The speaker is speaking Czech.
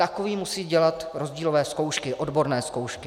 Takový musí dělat rozdílové zkoušky, odborné zkoušky.